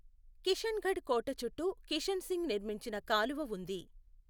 కిషన్గఢ్ కోట చుట్టూ కిషన్సింగ్ నిర్మించిన కాలువ ఉంది.